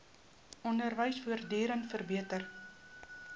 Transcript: onderwys voortdurend verbeter